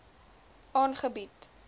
aangebied